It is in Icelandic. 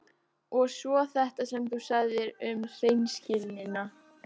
Og svo þetta sem þú sagðir um hreinskilnina.